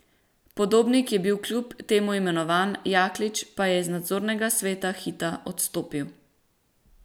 Podobnik je bil kljub temu imenovan, Jaklič pa je z nadzornega sveta Hita odstopil.